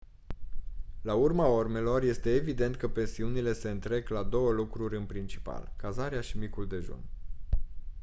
la urma urmelor este evident că pensiunile se întrec la două lucruri în principal cazarea și micul dejun